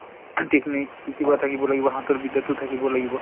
কিবা থাকিব লাগিব । হাতৰ বিদ্যা টোও থাকিব লাগিব।